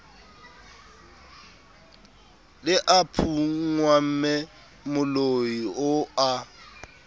le a phunngwamme moloio a